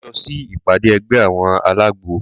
Máa lọ sí ìpàdé ẹgbẹ́ àwọn alágbo.